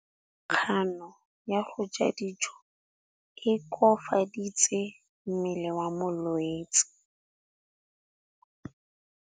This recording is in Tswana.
Kganô ya go ja dijo e koafaditse mmele wa molwetse.